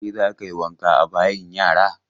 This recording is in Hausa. Kai za ka yi wanka a bayin yara!